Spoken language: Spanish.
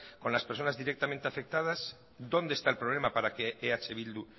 con las personas directamente afectadas dónde está el problema para que eh bildu